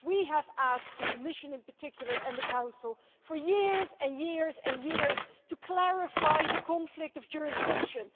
We have asked the Commission, in particular, and the Council for years and years and years to clarify the conflict of jurisdiction.